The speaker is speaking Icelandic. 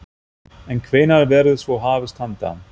En hvenær verður svo hafist handa?